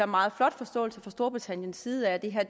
meget flot forståelse fra storbritanniens side af at det her